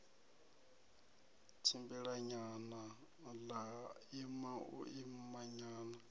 tshimbilanyana ḽa ima u imanyana